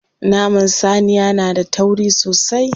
Naman saniya na da tauri sosai.